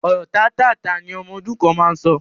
Ọ̀rọ̀ tátáààtá ni ọmọ ọdún kan máa ń sọ